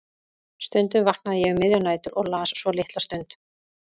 Stundum vaknaði ég um miðjar nætur og las svo litla stund.